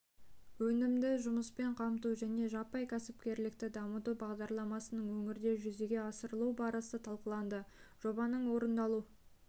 өнімді жұмыспен қамту және жаппай кәсіпкерлікті дамыту бағдарламасының өңірде жүзеге асырылу барысы талқыланды жобаның орындалу